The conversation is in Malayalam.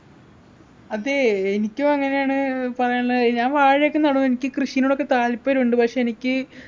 അതെ എനിക്കും അങ്ങനെയാണ് പറയാനുള്ളത് ഞാൻ വാഴയൊക്കെ നടും എനിക്ക് കൃഷിനോടൊക്കെ താല്പര്യണ്ട് പക്ഷേ എനിക്ക്